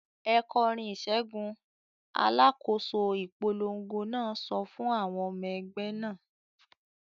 "Ẹ kọrin ìṣẹ́gun!" Alákòóso ìpolongo náà sọ fún àwọn ọmọ ẹgbẹ́ náà.